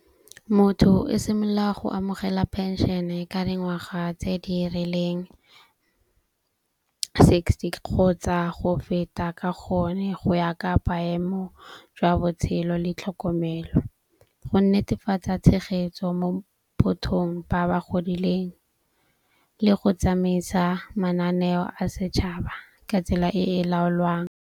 Motho o simolola go amogela penšene ka dingwaga tse di rileng sixty kgotsa go feta. Ka gonne go ya ka maemo jwa botshelo le tlhokomelo, go netefatsa tshegetso mo bothong ba ba godileng le go tsamaisa mananeo a setšhaba ka tsela e e laolwang.